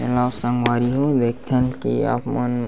चलव संगवारी मन देखथन की आप मन --